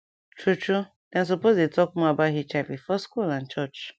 true true dem suppose dey talk more about hiv for school and church